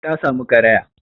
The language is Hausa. Ta samu karaya